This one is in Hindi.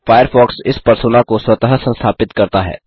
फ़ायरफ़ॉक्स इस परसोना को स्वतः संस्थापित करता है